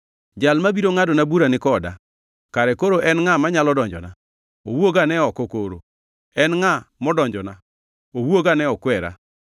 Jal mabiro ngʼadona bura ni koda. Kare koro en ngʼa manyalo donjona? Owuogane oko koro! En ngʼa modonjona? Owuogane okwera.